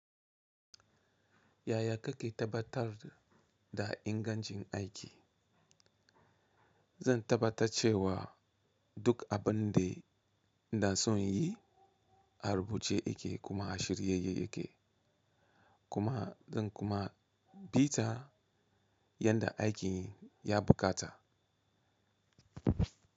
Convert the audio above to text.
Yaya kake tabbatar da ingancin aiki? Zan tabbata cewa duk abin da inason inyi a rubuce yake kuma a shirye yake, kuma zan kuma bi ta yadda aikin ya buƙata.